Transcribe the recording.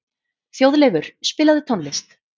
Þjóðleifur, spilaðu tónlist.